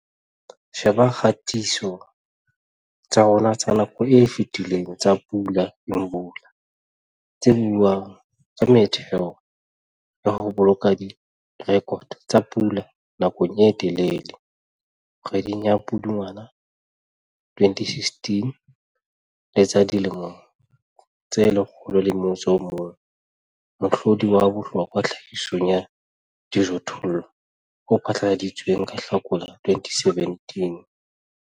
Sheba dikgatiso tsa rona tsa nako e fetileng tsa Pula Imvula, tse buang ka metheo ya ho boloka direkoto tsa pula nakong e telele, kgweding ya Pudungwana 2016 le tsa dilemo tse 101 - mohlodi wa bohlokwa tlhahisong ya dijothollo o phatlaladitsweng ka Hlakola 2017.